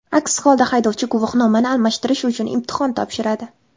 Aks holda haydovchi guvohnomani almashtirish uchun imtihon topshiradi.